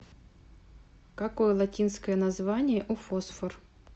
какой латинское название у фосфор